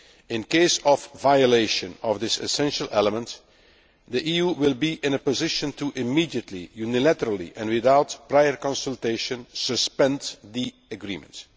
In the event of violation of this essential element, the EU will be in a position to immediately, unilaterally and without prior consultation suspend the agreements.